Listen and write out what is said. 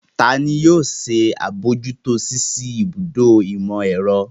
Ta ni yóò ṣe àbójútó ṣíṣí ibùdó ìmọ̀-ẹ̀rọ?